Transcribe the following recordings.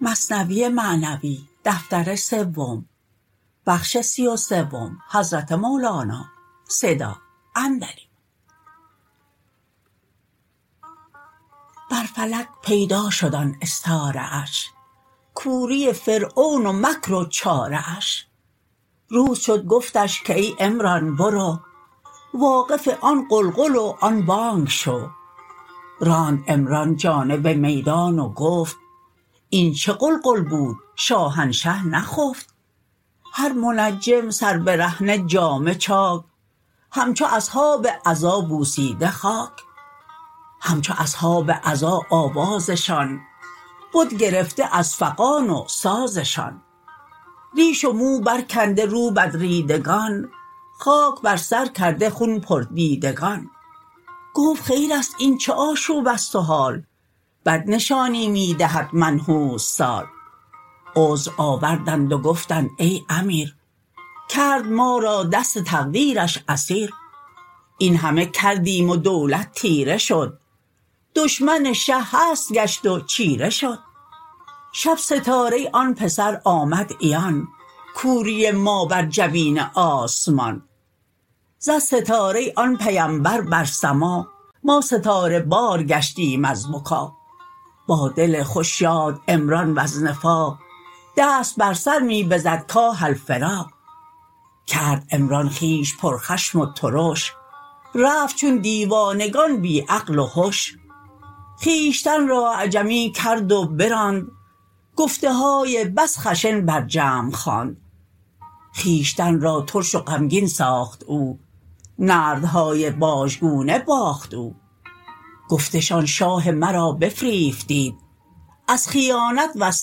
بر فلک پیدا شد آن استاره اش کوری فرعون و مکر و چاره اش روز شد گفتش که ای عمران برو واقف آن غلغل و آن بانگ شو راند عمران جانب میدان و گفت این چه غلغل بود شاهنشه نخفت هر منجم سر برهنه جامه چاک همچو اصحاب عزا بوسیده خاک همچو اصحاب عزا آوازشان بد گرفته از فغان و سازشان ریش و مو بر کنده رو بدریدگان خاک بر سر کرده خون پر دیدگان گفت خیرست این چه آشوبست و حال بد نشانی می دهد منحوس سال عذر آوردند و گفتند ای امیر کرد ما را دست تقدیرش اسیر این همه کردیم و دولت تیره شد دشمن شه هست گشت و چیره شد شب ستاره آن پسر آمد عیان کوری ما بر جبین آسمان زد ستاره آن پیمبر بر سما ما ستاره بار گشتیم از بکا با دل خوش شاد عمران وز نفاق دست بر سر می بزد کاه الفراق کرد عمران خویش پر خشم و ترش رفت چون دیوانگان بی عقل و هش خویشتن را اعجمی کرد و براند گفته های بس خشن بر جمع خواند خویشتن را ترش و غمگین ساخت او نردهای بازگونه باخت او گفتشان شاه مرا بفریفتید از خیانت وز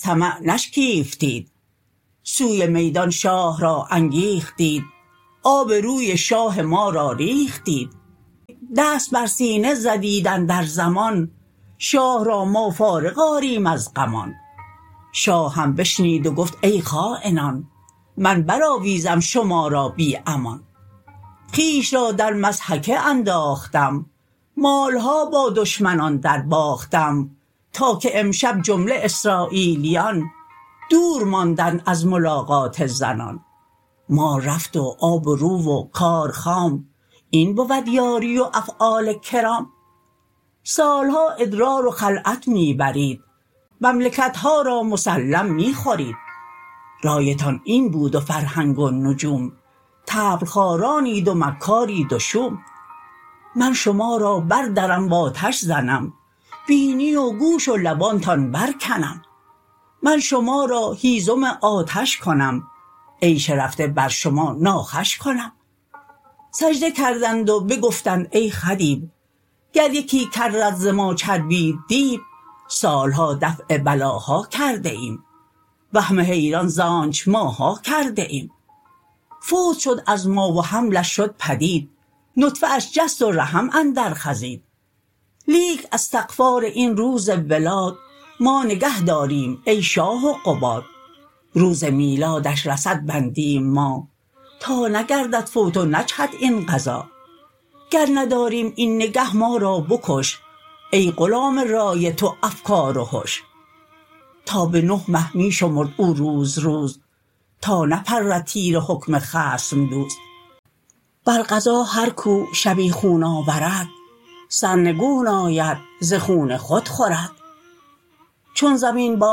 طمع نشکیفتید سوی میدان شاه را انگیختید آب روی شاه ما را ریختید دست بر سینه زدیت اندر ضمان شاه را ما فارغ آریم از غمان شاه هم بشنید و گفت ای خاینان من بر آویزم شما را بی امان خویش را در مضحکه انداختم مالها با دشمنان در باختم تا که امشب جمله اسراییلیان دور ماندند از ملاقات زنان مال رفت و آب رو و کار خام این بود یاری و افعال کرام سالها ادرار و خلعت می برید مملکتها را مسلم می خورید رایتان این بود و فرهنگ و نجوم طبل خوارانید و مکارید و شوم من شما را بر درم و آتش زنم بینی و گوش و لبانتان بر کنم من شما را هیزم آتش کنم عیش رفته بر شما ناخوش کنم سجده کردند و بگفتند ای خدیو گر یکی کرت ز ما چربید دیو سالها دفع بلاها کرده ایم وهم حیران زانچ ماها کرده ایم فوت شد از ما و حملش شد پدید نطفه اش جست و رحم اندر خزید لیک استغفار این روز ولاد ما نگه داریم ای شاه و قباد روز میلادش رصد بندیم ما تا نگردد فوت و نجهد این قضا گر نداریم این نگه ما را بکش ای غلام رای تو افکار و هش تا به نه مه می شمرد او روز روز تا نپرد تیر حکم خصم دوز بر قضا هر کو شبیخون آورد سرنگون آید ز خون خود خورد چون زمین با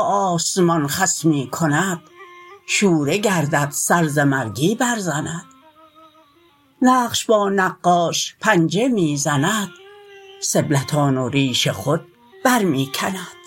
آسمان خصمی کند شوره گردد سر ز مرگی بر زند نقش با نقاش پنجه می زند سبلتان و ریش خود بر می کند